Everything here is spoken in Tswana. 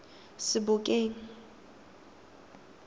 sebokeng